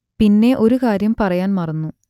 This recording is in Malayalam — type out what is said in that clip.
പിന്നെ ഒരു കാര്യം പറയാൻ മറന്നു